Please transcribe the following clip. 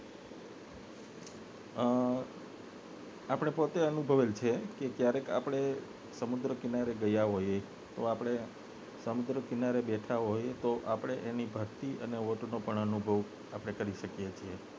આપને પોતે અનુભવેલ છે કે ક્યારેક આપને સમુદ્ર કિનારે ગયા હોય તો આપને સમુદ્ર કિનારે બેઠા હોય તો આપને તેની ભરતી અને ઓટ નો પણ અનુભવ આપને કરી શકીએ છીએ